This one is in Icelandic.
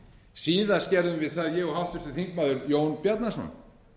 síðast gerðum við það ég og háttvirtur þingmaður jón bjarnason